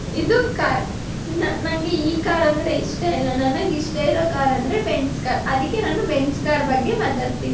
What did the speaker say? ಇದು ಕಾರ್ ನ ನಂಗೆ ಈ ಕಾರ್ ಅಂದ್ರೆ ಇಷ್ಟಇಲ್ಲ ನನಗೆ ಇಷ್ಟಇರೋ ಕಾರ್ ಅಂದ್ರೆ ಬೆಂಜ್ ಕಾರ್ ಅದಿಕ್ಕೆ ನಾನು ಬೆಂಜ್ ಕಾರ್ ಬಗ್ಗೆ ನಾನು ಮಾತಾಡ್ತೀನಿ.